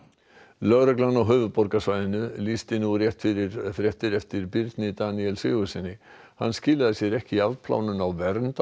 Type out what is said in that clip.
lögreglan á höfuðborgarsvæðinu lýsti nú rétt fyrir fréttir eftir Birni Daníel Sigurðssyni hann skilaði sér ekki í afplánun á vernd á